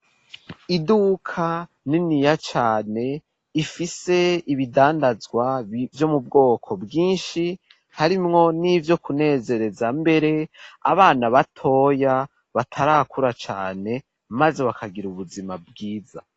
Iduka niniya cane ifise ibidandazwa vyo mu bwoko bwinshi harimwo n'ivyo kunezereza mbere abana batoya batarakura cane maze bakagira ubuzima bwiza.